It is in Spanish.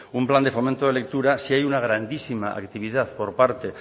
un plan de fomento de lectura sí hay una grandísima activad por parte